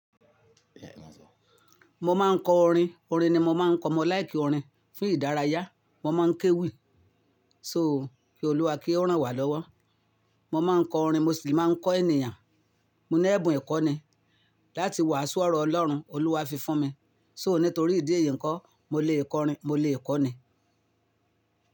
Mo máa ń kọ orin, orin ni mo máa ń kọ. Mo láì kí orin fún ìdárayá, mo máa ń kéwì. So kí Olúwa kí ó ràn wá lọ́wọ́. Mo máa ń kọ orin, mo sì máa ń kọ ènìyàn. Mo ní ẹ̀bùn ìkọ́ni láti wàásù ọ̀rọ̀ Ọlọ́run, Olúwa fi fún mi. So nítorí ìdí èyí ńkọ́ mo lè kọ orin, mo lè kọ́ni.